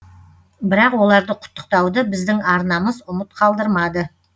бірақ оларды құттықтауды біздің арнамыз ұмыт қалдырмады